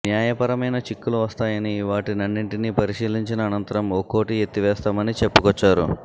న్యాయపరమైన చిక్కులు వస్తాయని వాటన్నింటిని పరిశీలించిన అనంతరం ఒక్కోటి ఎత్తివేస్తామని చెప్పుకొచ్చారు